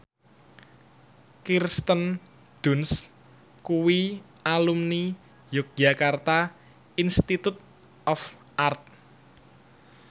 Kirsten Dunst kuwi alumni Yogyakarta Institute of Art